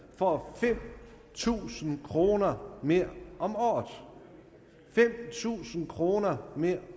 får fem tusind kroner mere om året fem tusind kroner mere